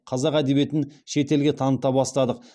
қазақ әдебиетін шет елге таныта бастадық